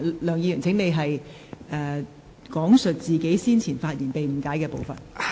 梁議員，請講述你先前發言中被誤解的部分。